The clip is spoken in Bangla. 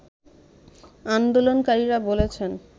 আন্দোলনকারীরা বলছেন